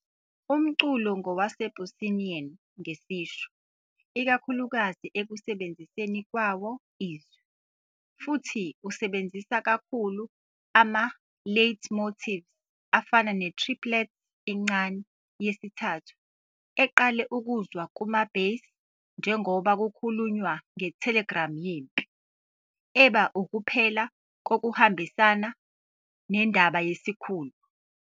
Umculo ngowasePuccinian ngesisho, ikakhulukazi ekusebenziseni kwawo izwi, futhi usebenzisa kakhulu ama- leitmotives afana ne- triplet encane yesithathu eqale ukuzwa kuma-bass njengoba kukhulunywa ngetelegram yempi, eba ukuphela kokuhambisana nendaba yesikhulu.